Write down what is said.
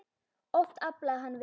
Oft aflaði hann vel.